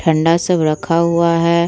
ठंडा सब रखा हुआ है ।